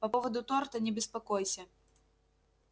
по поводу торта не беспокойся